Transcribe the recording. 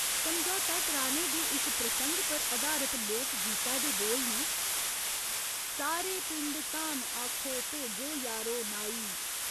समझौता कराने दे इक प्रसंग पर अधारत लोक गीतै दे बोल न, सारे पिंड धाम आखो, भेजो यारो नाई।